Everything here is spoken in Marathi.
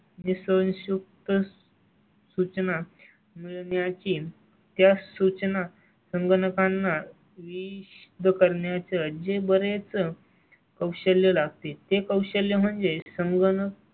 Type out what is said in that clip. जे संयुक्त सूचना मिळण्या ची त्या सूचना संगणकांना वी जो करण्या चं जे बरेच कौशल्य लागते ते कौशल्य म्हणजे संगणक.